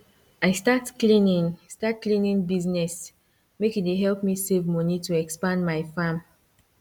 i start cleaning start cleaning business make e dey help me save money to expand my farm